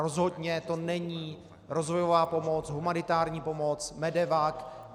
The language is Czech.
Rozhodně to není rozvojová pomoc, humanitární pomoc, MEDEVAC.